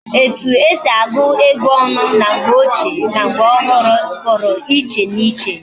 Etu esi agu ego onu na mgbe ohu na mgbe ochie Puru iche na iche